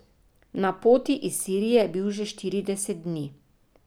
Na poti iz Sirije je bil že štirideset dni.